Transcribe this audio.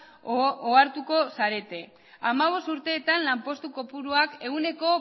ohartuko zarete hamabost urteetan lanpostu kopuruak ehuneko